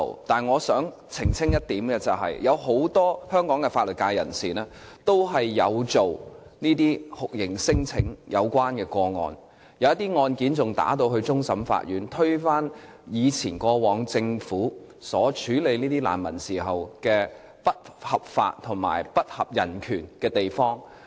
但是，我想澄清一點，有很多香港法律界人士都有承接與酷刑聲請有關的個案，有些案件更上訴至終審法院，推翻過往政府處理難民時一些不合法及不合人權的地方。